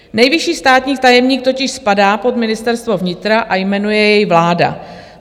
Nejvyšší státní tajemník totiž spadá pod Ministerstvo vnitra a jmenuje jej vláda.